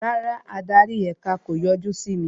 Rárá, adarí èka o yọjú sí mi